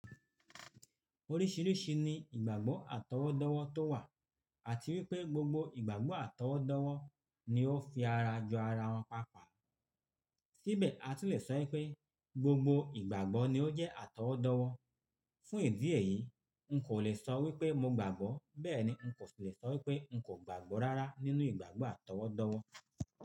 Oríṣìíríṣìí ni ìgbàgbọ́ àtọwọ́dọ́wọ́ tó wà àti wípé gbogbo ìgbàgbọ́ àtọwọ́dọ́wọ́ ni ó fi ara jo ara wọn papó. Síbẹ̀, a tun lè sọ wípé gbogbo ìgbàgbọ́ ni ó jẹ́ àtọwọ́dọ́wọ́. Fún ìdí èyí, n kò le sọ wípé mo gbàgbọ́, bẹ́ẹ̀ ni n kò le sọ wípé n kò gbàgbọ́ rárá nínú ìgbàgbọ́ àtọwọ́dọ́wọ́.